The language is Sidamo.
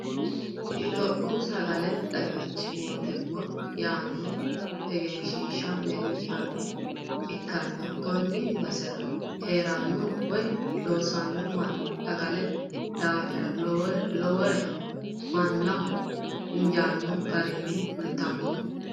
Itiyophiyu sagaletenna xagichu mootimma yaanno egensiishshi leellanoha ikkana konni basera heeranno Woyi loosanno manni sagalete daafira lowolere mannaho injaanno garinni kulitanno